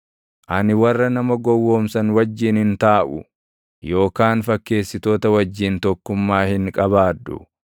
Ani warra nama gowwoomsan wajjin hin taaʼu, yookaan fakkeessitoota wajjin tokkummaa hin qabaadhu;